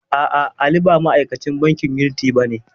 A'a, Ali ba ma'akacin bankin yuniti bane.